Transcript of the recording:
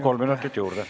Kolm minutit juurde.